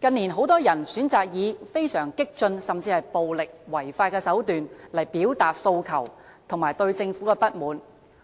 近年，很多人選擇以非常激進，甚至是暴力違法的手段來表達訴求和對政府的不滿，